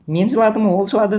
мен жыладым ол жылады